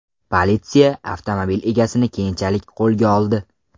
Politsiya avtomobil egasini keyinchalik qo‘lga oldi.